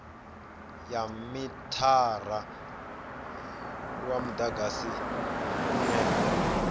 ya mithara wa mudagasi une